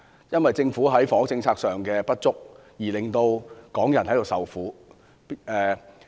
因為政府在房屋政策上的不足，港人便要受苦。